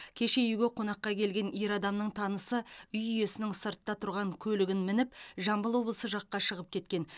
кешке үйге қонаққа келген ер адамның танысы үй иесінің сыртта тұрған көлігін мініп жамбыл облысы жаққа шығып кеткен